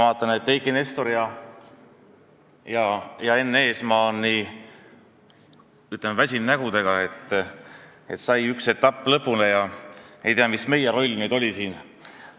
Ma vaatan, et Eiki Nestor ja Enn Eesmaa on nii väsinud nägudega – üks etapp sai lõpule ja ei tea, mis meie roll nüüd oli siin.